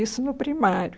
Isso no primário.